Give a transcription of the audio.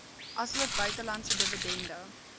asook buitelandse dividende